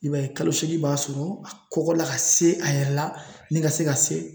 I b'a ye kalo seegin b'a sɔrɔ a kɔgɔ la ka se a yɛrɛ la ni ka se ka se